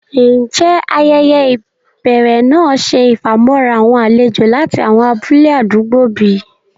Ǹjẹ́ ayẹyẹ́ ibèrè náà ṣẹ ifamọ̀ra awọn àlèjò lati awọn abúlẹ̀ àdúgbò bí?